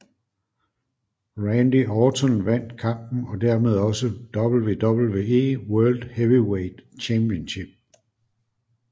Randy Orton vandt kampen og dermed også WWE World Heavyweight Championship